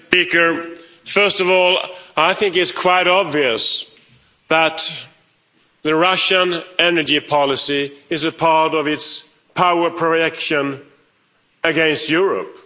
Mr President, first of all, I think it's quite obvious that the Russian energy policy is a part of its powerful reaction against Europe.